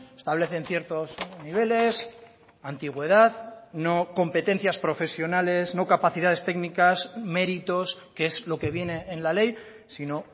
establecen ciertos niveles antigüedad no competencias profesionales no capacidades técnicas méritos que es lo que viene en la ley sino